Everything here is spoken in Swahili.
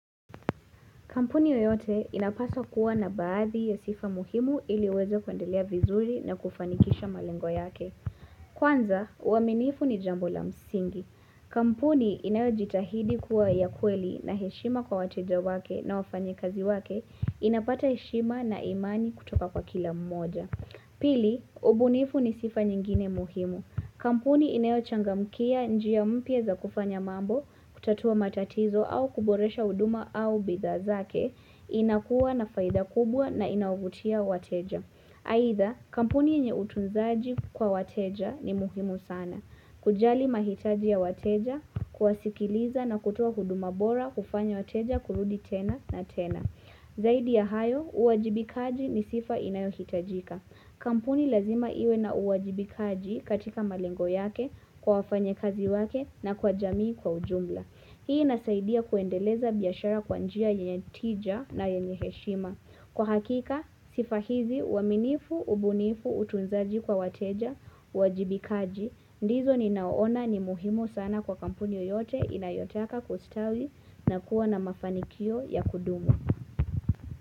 Kampuni yoyote inapaswa kuwa na baadhi ya sifa muhimu ili iweze kuendelea vizuri na kufanikisha malengo yake. Kwanza, uaminifu ni jambo la msingi. Kampuni inayo jitahidi kuwa ya kweli na heshima kwa wateja wake na wafanyi kazi wake inapata heshima na imani kutoka kwa kila mmoja. Pili, ubunifu ni sifa nyingine muhimu. Kampuni inayochangamkia njia mpya za kufanya mambo, kutatua matatizo au kuboresha huduma au bidhaa zake, inakuwa na faida kubwa na inavutia wateja. Aitha, kampuni yenye utunzaji kwa wateja ni muhimu sana. Kujali mahitaji ya wateja, kuwasikiliza na kutoa huduma bora hufanya wateja kurudi tena na tena. Zaidi ya hayo, uwajibikaji ni sifa inayohitajika. Kampuni lazima iwe na uwajibikaji katika malengo yake kwa wafanya kazi wake na kwa jamii kwa ujumla. Hii inasaidia kuendeleza biashara kwa njia yenye tija na yenye heshima. Kwa hakika, sifa hizi uaminifu, ubunifu, utunzaji kwa wateja, uwajibikaji. Ndizo ninaona ni muhimu sana kwa kampuni yoyote inayotaka kustawi na kuwa na mafanikio ya kudumu.